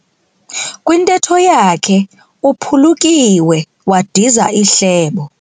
Kwintetho yakhe uphulukiwe wadiza ihlebo.